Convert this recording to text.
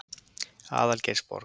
Algeirsborg